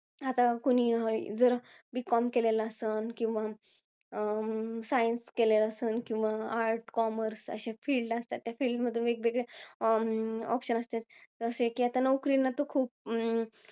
आता कुणी जर, B com केलेलं असतं. किंवा, science केलेलं असतं. किवा arts commarce अशा filed असतात. अशा filed मधून वेगवेगळे option असतात. जसे कि आता नोकरी नंतर खूप